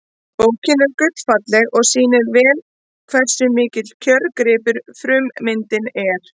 Bókin er gullfalleg og sýnir vel hversu mikill kjörgripur frummyndin er.